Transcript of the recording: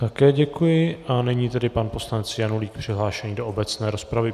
Také děkuji a nyní tedy pan poslanec Janulík přihlášený do obecné rozpravy.